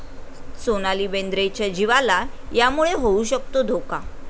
सोनाली बेंद्रेच्या जीवाला यामुळे होऊ शकतो धोका